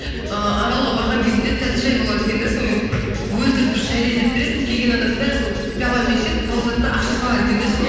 ыыы аралға барған кезімде тәтті шәй болады екен де сонымен өлтіріп тұрып шәй дайындап бересің келген адамның бәрі сол пиаламен ішеді тауысады да ақша салады екен де ішіне